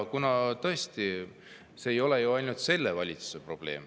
Ja tõesti see ei ole ju ainult selle valitsuse probleem.